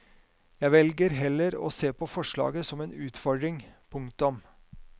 Jeg velger heller å se på forslaget som en utfordring. punktum